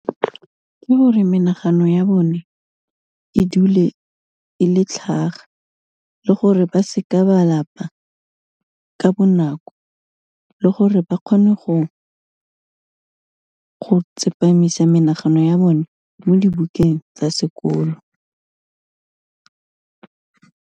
Ke gore menagano ya bone, e dule e le tlhaga le gore ba se ka ba lapa ka bonako, le gore ba kgone go tsepamisa menagano ya bone mo dibukeng tsa sekolo.